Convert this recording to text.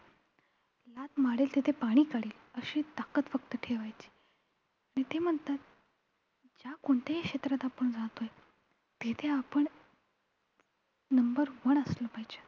लाथ मारेल तिथे पाणी काढेल अशी एक ताकत फक्त ठेवायची. ते म्हणतात ज्या कोणत्याही क्षेत्रात आपण राहतोय तेथे आपण number one असलं पाहिजे.